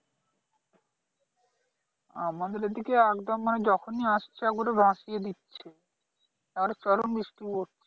আমাদের এইদিকে একদম মানে যখনি আসছে একেবারে ভাসিয়া দিচ্ছে একেবারে চরম বৃষ্টি পড়ছে